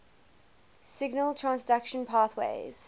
signal transduction pathways